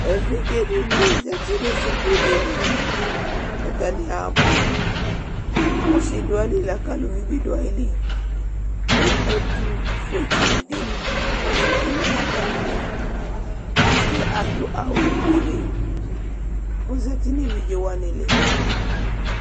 evidze di ni zati no suku dini atani abo ɔse do ayili lako aluvi bi do ayili ko ɛtofue tsi di ozati no atami li ɔsiɛ ado awu fue ko ozati no evidze wani li